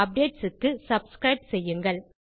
updates க்கு subscribe செய்யுங்கள்